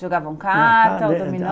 Jogavam carta, dominó?